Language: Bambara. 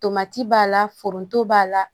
Tomati b'a la foronto b'a la